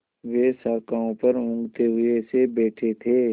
वे शाखाओं पर ऊँघते हुए से बैठे थे